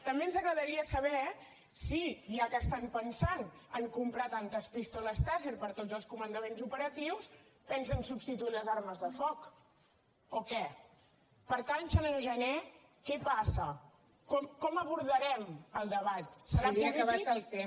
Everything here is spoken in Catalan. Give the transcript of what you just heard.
també ens agradaria saber si ja que estan pensant en comprar tantes pistoles tasser per a tots els comandaments operatius pensen substituir les armes de foc o què per tant senyor jané què passa com abordarem el debat serà polític